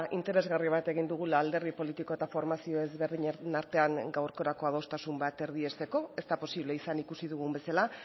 interesgarri bat egin dugula alderdi politiko eta formazio ezberdinen artean gaurkorako adostasun bat erdiesteko ez da posible izan ikusi dugun bezala